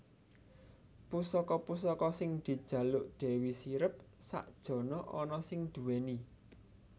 Pusaka pusaka sing dijaluk Dewi Sirep sak jana ana sing duwéni